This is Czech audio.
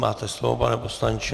Máte slovo, pane poslanče.